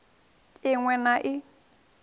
i ṅ we na i